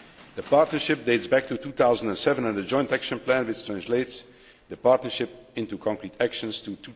The partnership dates back to 2007 and the joint action plan, which translates the partnership into concrete actions,